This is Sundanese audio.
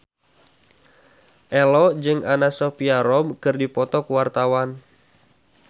Ello jeung Anna Sophia Robb keur dipoto ku wartawan